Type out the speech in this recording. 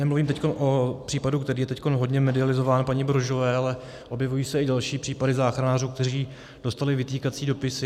Nemluvím teď o případu, který je teď hodně medializovaný, paní Brožové, ale objevují se i další případy záchranářů, kteří dostali vytýkací dopisy.